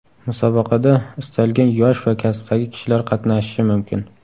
Musobaqada istalgan yosh va kasbdagi kishilar qatnashishi mumkin.